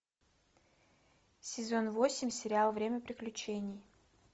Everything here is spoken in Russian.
сезон восемь сериал время приключений